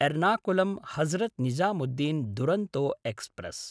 एर्नाकुलं–हजरत् Nizamuddin Duronto express